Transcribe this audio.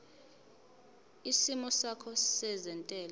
isimo sakho sezentela